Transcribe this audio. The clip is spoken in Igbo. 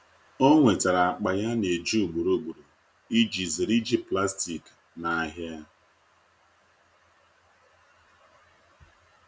o nwetara akpa ya ana eji ugboro ugboro iji zere iji plastik na ahia